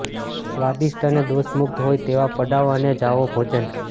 સ્વાદિષ્ટ અને દોષ મુક્ત હોય તેવા પડાવ અને જાઓ ભોજન